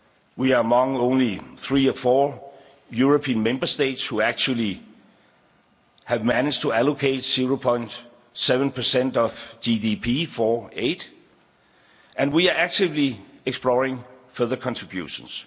We are among only three or four European Member States who actually have managed to allocate 0.7 of GDP to aid, and we are actively exploring further contributions.